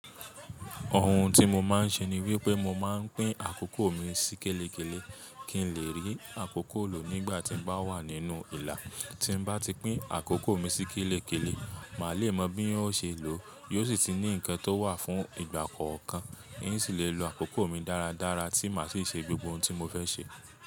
Òhùn tí mo máa ń ṣe ni wípé mo máa ń pín àkókò mi sí kélekéle kí n lè rí àkókò lò nígbà tí n bá wà nínú ìlà. Tí n bá ti pín àkókò mi sí kélekéle, màá le mọ bí wòn o ṣe lọ, yóò sì tu ní ǹkan tó wà fún ìgbà kọ̀ọ̀kan, n sì le lo àkókò mi dáradára tí màá sì ṣe gbogbo ntí mo fẹ́ ṣe.